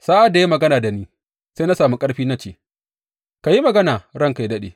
Sa’ad da ya yi magana da ni, sai na samu ƙarfi na ce, Ka yi magana ranka yă daɗe,